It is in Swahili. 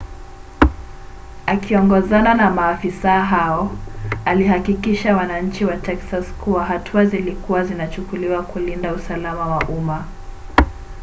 akiongozana na maafisa hao alihakikishia wananchi wa texas kuwa hatua zilikua zinachukuliwa kulinda usalama wa umma